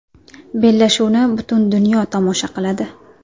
Bellashuvni butun dunyo tomosha qiladi.